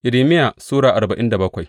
Irmiya Sura arba'in da bakwai